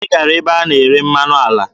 Anyị gara ebe a na-ere mmanụ ala.